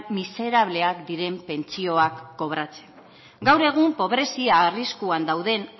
miserableak diren pentsioak kobratzen gaur egun pobrezia arriskuan dauden